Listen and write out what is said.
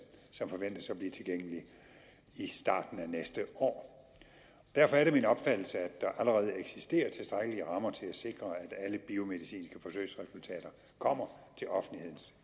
som forventes at blive tilgængelig i starten af næste år derfor er det min opfattelse at rammer til at sikre at alle biomedicinske forsøgsresultater kommer til offentlighedens